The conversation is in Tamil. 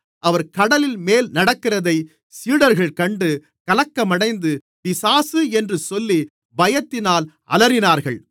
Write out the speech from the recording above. அவர் கடலின்மேல் நடக்கிறதை சீடர்கள் கண்டு கலக்கமடைந்து பிசாசு என்று சொல்லி பயத்தினால் அலறினார்கள்